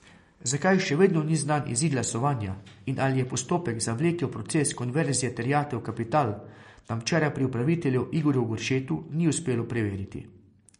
Zakaj še vedno ni znan izid glasovanja in ali je postopek zavlekel proces konverzije terjatev v kapital, nam včeraj pri upravitelju Igorju Goršetu ni uspelo preveriti.